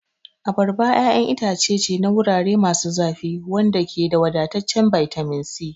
Abarba ƴaƴan itace ce na wurare masu zafi wanda ke da wadataccen bitamin C.